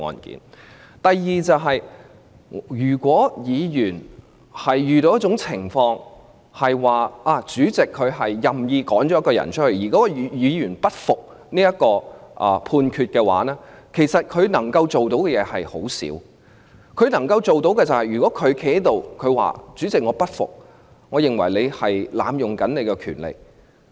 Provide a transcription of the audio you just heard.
第二，如果議員被主席任意驅逐，即使該位議員不服裁決，可以做的事情也不多，極其量只能站在會議廳內說："主席，我不服，我認為你濫用權力。